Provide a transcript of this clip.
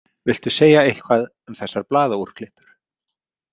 Viltu segja eitthvað um þessar blaðaúrklippur?